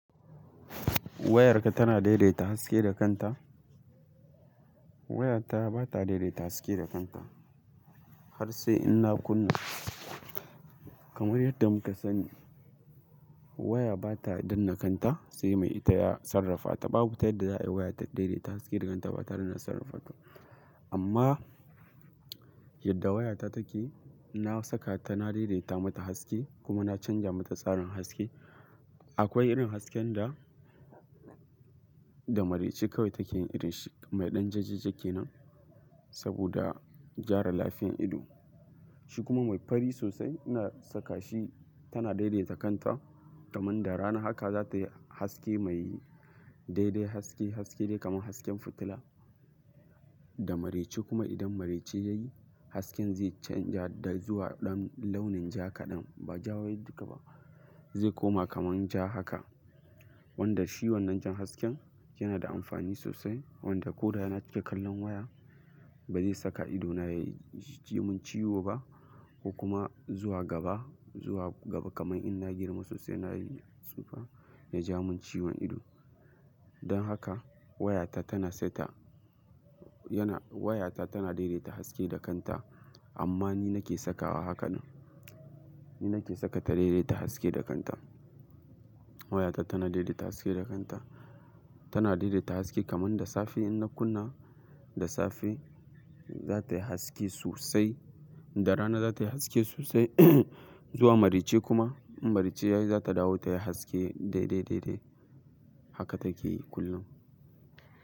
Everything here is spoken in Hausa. Wayarka tana daidaita haske da kanta? Wayata bata daidaita haske da kanta har sai in na kunna kamar yadda muka sani. Waya bata danne kanta sai mai ita ya sarrafa ta babu tayadda za'a yi waya ta daidaita haske da kanta bata danne sarrafa ta. Amma yadda wayata take, na saka tana daidaita mata haske kuma na canja mata tsarin haske. Akwai irin hasken da, da marece kawai take yin irin shi mai ɗan jajja-jajja kenan saboda gyara lafiyan ido. Shi kuma mai fari sosai ina saka shi tana daidaita kanta kaman da rana haka za ta yi haske mai daidai haske, haske dai kamar hasken fitila. Da marece kuma idan marece yayi hasken zai canja da zuwa ɗan launin ja kaɗan ba ja wai duka ba zai koma kamar ja haka. Wanda shi wannan jan hasken yana da amfani sosai wanda ko da na cika kallon waya ba zai saka ido na ya ji mun ciwo ba ko kuma zuwa gaba, zuwa gaba kamar in na girma sosai na yi tsufa ya ja mun ciwon ido. Don haka wayata tana saita, yana wayata tana daidaita haske da kanta amma ni nake sakawa haka nan. Ni nake saka ta daidaita haske da kanta. Wayata tana daidaita haske da kanta. Tana daidaita haske kaman da safe in na kunna da safe za ta yi haske sosai, da rana za ta yi haske sosai zuwa marece kuma in marece yayi za ta dawo ta yi haske daidai, daidai haka take yi kullum.